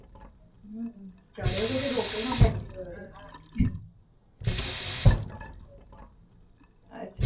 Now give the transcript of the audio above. ચડયો તો કે રોપેવે માં ગયો તો?